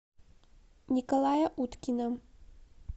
николая уткина